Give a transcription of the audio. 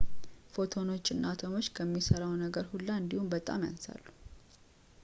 ፎቶኖች አቶሞችን ከሚሠራው ነገር ሁላ እንዲያውም በጣም ያንሳሉ